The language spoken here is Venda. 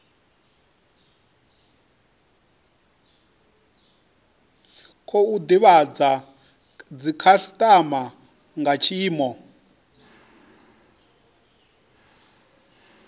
khou divhadza dzikhasitama nga tshiimo